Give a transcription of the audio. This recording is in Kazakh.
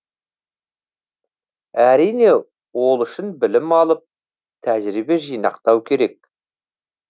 әрине ол үшін білім алып тәжірибе жинақтау керек